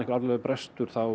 alvarlegur brestur